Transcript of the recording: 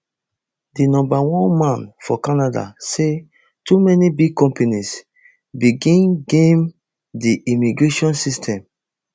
di number one man for canada say too many big companies begin game di immigration system